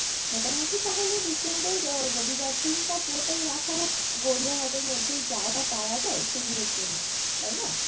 মোটামটি তাহলে weekend এর আহ রবিবার দিনটা পুরোটাই রাখা হোক গড়িয়াহাটের মধ্যেই যা যা পাওয়া যায় সেগুলোর জন্য তাইনা?